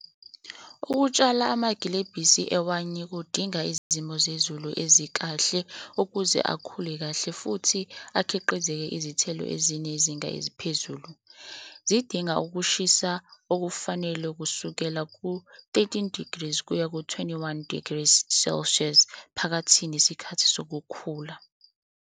Ukutshala amagilebhisi ewayini kudinga izimo zezulu ezikahle ukuze akhule kahle futhi akhiqize izithelo ezinezinga eziphezulu. Zidinga ukushisa okufanele kusukela ku-thirteen degrees kuya ku-twenty-one degrees Celsius, phakathi nesikhathi sokukhula.